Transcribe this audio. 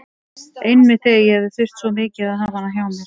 Einmitt þegar ég hefði þurft svo mikið að hafa hana hjá mér.